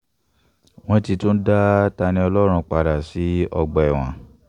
wọ́n ti tún dá ta-ní-ọlọ́run padà um sọ́gbà ẹ̀wọ̀n